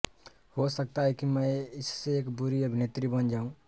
हो सकता है कि मैं इससे एक बुरी अभिनेत्री बन जाऊं